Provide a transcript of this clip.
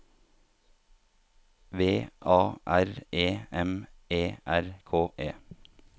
V A R E M E R K E